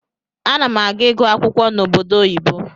Anam aga igụ akwụkwọ na obodo oyibo.